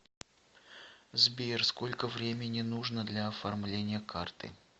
сбер сколько времени нужно для оформления карты